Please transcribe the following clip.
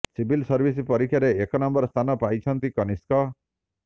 civil service ପରୀକ୍ଷାରେ ଏକ number ସ୍ଥାନ ପାଇଛନ୍ତି କନିଷ୍କ